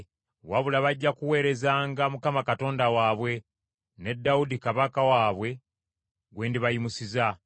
Wabula, bajja kuweerezanga Mukama Katonda waabwe ne Dawudi kabaka waabwe gwe ndibayimusiza.